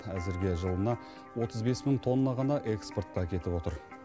әзірге жылына отыз бес мың тонна ғана экспортқа кетіп отыр